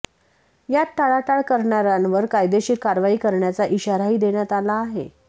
यात टाळाटाळ करणाऱ्यांवर कायदेशीर कारवाई करण्याचा इशाराही देण्यात आला आहे